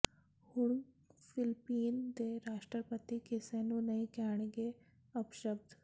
ਹੁਣ ਫਿਲਪੀਨ ਦੇ ਰਾਸ਼ਟਰਪਤੀ ਕਿਸੇ ਨੂੰ ਨਹੀਂ ਕਹਿਣਗੇ ਅਪਸ਼ਬਦ